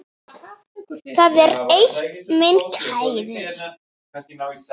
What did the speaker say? Það er eitt, minn kæri.